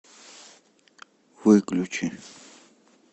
выключи